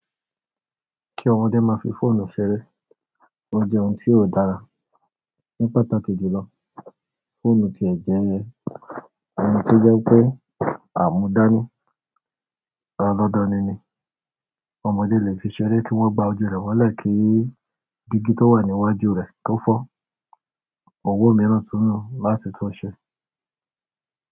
Kí ọmọdé máa fi fóònù ṣeré, ó jẹ́ ohun tí ò dára. Ní pàtàkì jùlọ, fóònù tí ẹ̀ jẹ́ ẹ, ohun tó jẹ́ pé àmúdání, alódánì ni. Ọmọdé lè fi ṣeré kí wọ́n ba ojú rẹ̀ wọlé kí digi tó wà ní iwájú rẹ̀ tó fọ́. Owó mìíràn túnù láti tun ṣe.